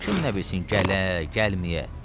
Kim nə bilsin gələ, gəlməyə.